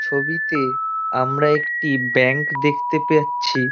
ছবিতে আমরা একটি ব্যাঙ্ক দেখতে পেচ্ছি ।